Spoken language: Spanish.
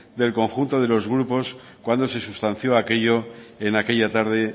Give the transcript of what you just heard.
del conjunto de los grupos cuando se sustanció aquello en aquella tarde